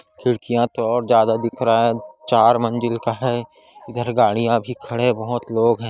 खिड़कहिया तो और ज्यादा दिख रहा हैंचार मंजिल का हैंइधर गाड़िया भी खड़े और लोग भी हैं ।